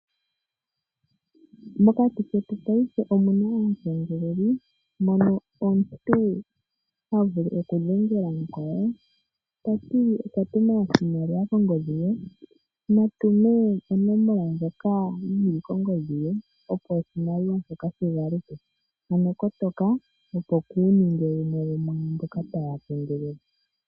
Mokati ketu paife omuna aakengeleli. Mono omuntu ha vulu okudhengela mukwawo tati okwa tuma oshimaliwa kongodhi ye, natume onomola ndjoka yili kongodhi ye opo oshimaliwa shigaluke ano kotoka waaninge oshihakanwa.